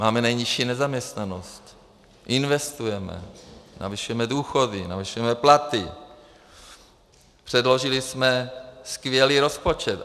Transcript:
Máme nejnižší nezaměstnanost, investujeme, navyšujeme důchody, navyšujeme platy, předložili jsme skvělý rozpočet.